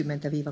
20